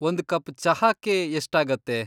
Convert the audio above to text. ಒಂದ್ ಕಪ್ ಚಹಾಕ್ಕೆ ಎಷ್ಟಾಗತ್ತೆ?